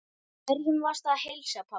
Hverjum varstu að heilsa, pabbi?